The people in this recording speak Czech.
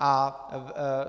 A